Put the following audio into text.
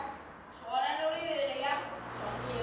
Svona er nú lífið.